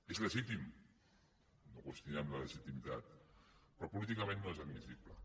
és legítim no en qüestionem la legitimitat però políticament no és admissible